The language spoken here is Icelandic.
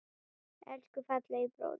Elsku fallegi bróðir.